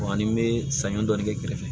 ani n bɛ sanɲɔ dɔɔnin kɛ kɛrɛfɛ